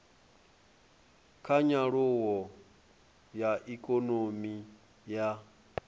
kha nyaluwo ya ikonomi ya